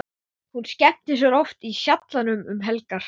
Hún skemmtir sér oft í Sjallanum um helgar.